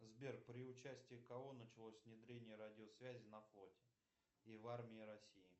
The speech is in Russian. сбер при участии кого началось внедрение радиосвязи на флоте и в армии россии